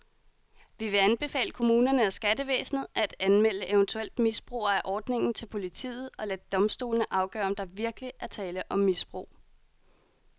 Vi vil anbefale kommunerne og skattevæsenet, at anmelde eventuelt misbrugere af ordningen til politiet og lade domstolene afgøre om der virkelig er tale om misbrug.